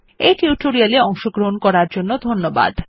এই টিউটোরিয়াল এ অংশগ্রহন করার জন্য ধন্যবাদ